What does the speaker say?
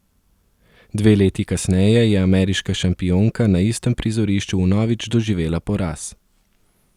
Dve leti kasneje je ameriška šampionka na istem prizorišču vnovič doživela poraz.